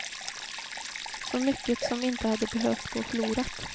Så mycket som inte hade behövt gå förlorat.